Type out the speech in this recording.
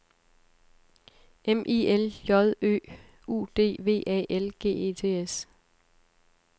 M I L J Ø U D V A L G E T S